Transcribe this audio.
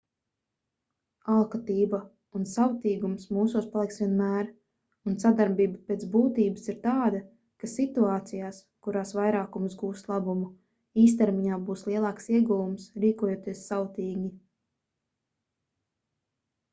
alkatība un savtīgums mūsos paliks vienmēr un sadarbība pēc būtības ir tāda ka situācijās kurās vairākums gūst labumu īstermiņā būs lielāks ieguvums rīkojoties savtīgi